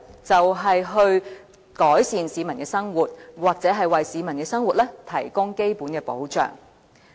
就是改善市民的生活或為市民的生活提供基本保障。